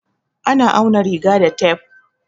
A na auna riga da tef.